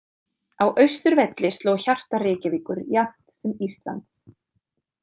Á Austurvelli sló hjarta Reykjavíkur jafnt sem Íslands.